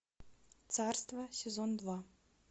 царство сезон два